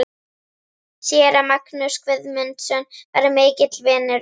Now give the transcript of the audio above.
Séra Magnús Guðmundsson var mikill vinur minn.